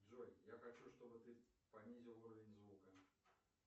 джой я хочу чтобы ты понизил уровень звука